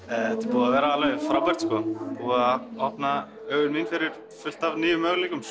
búið að vera alveg frábært sko búið að opna augu mín fyrir fullt af nýjum möguleikum